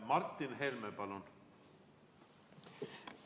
Martin Helme, palun!